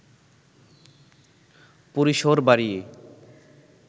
পরিসর বাড়িয়ে